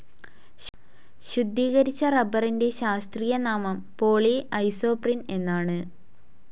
ശുദ്ധീകരിച്ച റബ്ബറിന്റെ ശാസ്ത്രീയനാമം പോളി ഐസോപ്രീൻ എന്നാണ്.